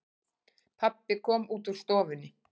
Pabbi kom út úr stofunni.